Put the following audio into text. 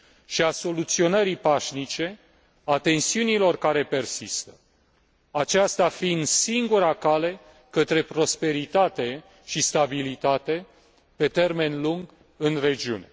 și a soluționării pașnice a tensiunilor care persistă, aceasta fiind singura cale către prosperitate și stabilitate pe termen lung în regiune.